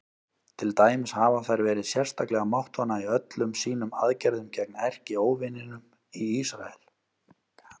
Til dæmis hafa þær verið sérstaklega máttvana í öllum sínum aðgerðum gegn erkióvininum Ísrael.